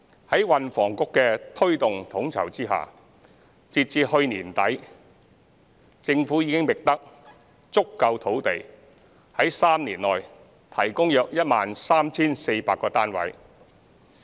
在運輸及房屋局的推動統籌下，截至去年年底，政府已覓得足夠土地在3年內提供約 13,400 個過渡性房屋單位。